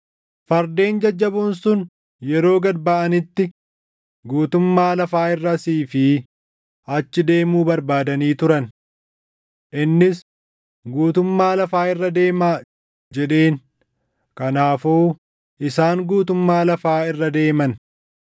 Fardeen jajjaboon sun yeroo gad baʼanitti guutummaa lafaa irra asii fi achi deemuu barbaadanii turan. Innis “Guutummaa lafaa irra deemaa!” jedheen. Kanaafuu isaan guutummaa lafaa irra deeman.